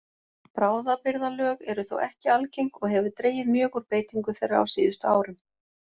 Bráðabirgðalög eru þó ekki algeng og hefur dregið mjög úr beitingu þeirra á síðustu árum.